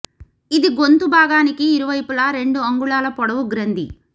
ఇది గొంతు బాగానికి ఇరువైపులా రెండు అంగుళాల పొడవు గ్రంథి